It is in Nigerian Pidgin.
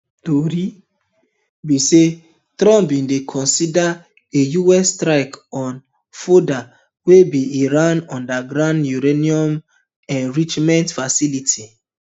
tori be say trump bin dey consider a us strike on fordo wey be iran underground uranium enrichment facility